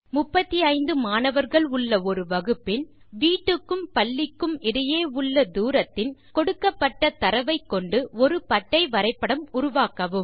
35 மாணவர்கள் உள்ள ஒரு வகுப்பின் வீட்டுக்கும் பள்ளிக்கும் இடையுள்ள தூரத்தின் கொடுக்கப்பட்ட தரவை கொண்டு ஒரு பட்டை வரைபடம் உருவாக்கவும்